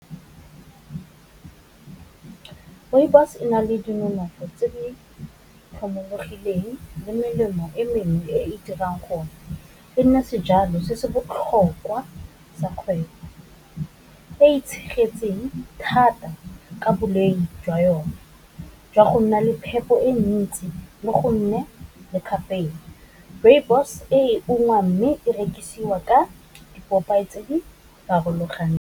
Rooibos e na le dinonofo tse di tlhomologileng le melemo e mengwe e e dirang gore e nne sejalo se se botlhokwa tsa kgwebo, e itshegetseng thata ka boleng jwa yone, jwa go nna le phepo e ntsi le go nne le kgapela rooibos e ungwang mme e rekisiwa ka dipopeye tse di farologaneng.